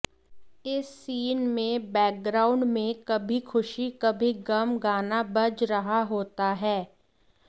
इस सीन में बैकग्राउंड में कभी खुशी कभी गम गाना बज रहा होता है